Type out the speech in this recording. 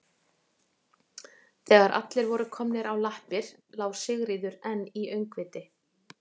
Þegar allir voru komnir á lappir lá Sigríður enn í öngviti.